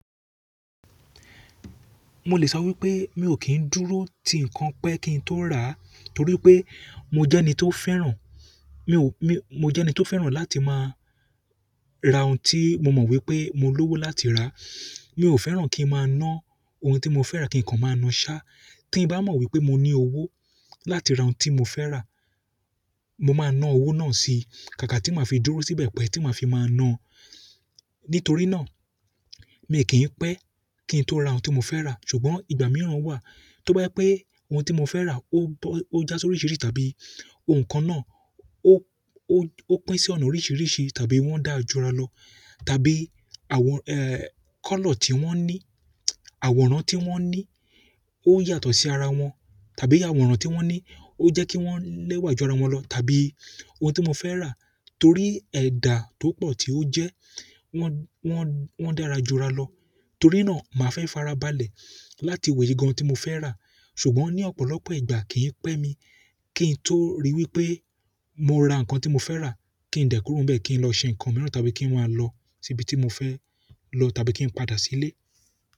Mo lè sọ wípé mi ò kí ń dúró ti ǹkan pẹ́ kí ń tó rà á, torí pé mo jẹ́ ẹni tó fẹ́ràn, mo jẹ́ ẹni tó fẹ́ràn láti máa ra ohun tí mo mọ̀ wípé mo lówó láti rà á. Mi ò fẹ́ràn kí ń máa ná ohun tí mo fẹ́ràn kí ǹkan máa na ṣá. Tí bá mọ̀ wípé mo ní owó láti ra ohun tí mo fẹ́ rà, mo máa ná owó náà sí, kàkà tí màá fi dúró síbẹ̀ pẹ́ tí màá fi máa na. Nítorí na, mii ki pe ki n to ra oun ti mo fe ra, ṣùgbọ́n ìgbà mìíràn wa to ba je pe oun ti mo fe ra o ja sorisirisi tàbí oun kan na o ó pín sí ọ̀nà oríṣiríṣi tàbí wọ́n dà á jọ́ra lọ tàbí àwọn, kọ́lọ̀ tí wọ́n ní, àwòrán tí wọ́n ní ó yàtọ̀ sí ara wọn tàbí àwòrán tí wọ́n ní ó jẹ́ kí wọ́n lẹ́wà ju ara wọn lọ tàbí ohun tí mo fẹ́ rà torí ẹ̀dà tó pọ̀ tí ó jẹ́ wọn dà á ra jọ́ra lọ. Torí náà màá fẹ́ farabalẹ̀ láti wo èyí gan-an tí mo fẹ́ rà. Ṣùgbọ́n ní ọ̀pọ̀lọpọ̀ ìgbà kì í pẹ́ mi kí n tó rí wípé mo ra ǹkan tí mo fẹ́ rà kí ń dẹ́ kùro bẹ́ẹ̀ kí ń lọ ṣe ǹkan mìíràn tàbí kí n máa lọ síbi tí mo fẹ́ lọ tàbí kí n padà sí ilé.